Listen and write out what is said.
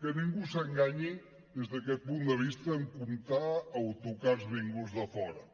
que ningú s’enganyi des d’aquest punt de vista en comptar autocars vinguts de fora